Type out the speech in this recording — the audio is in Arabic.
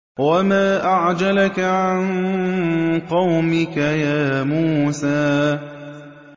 ۞ وَمَا أَعْجَلَكَ عَن قَوْمِكَ يَا مُوسَىٰ